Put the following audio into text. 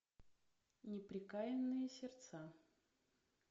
неприкаянные сердца